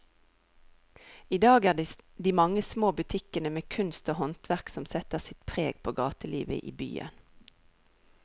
I dag er det de mange små butikkene med kunst og håndverk som setter sitt preg på gatelivet i byen.